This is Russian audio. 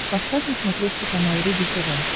поставь на смотрешке канал рубль тв